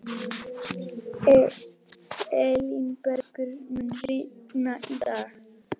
Elínbergur, mun rigna í dag?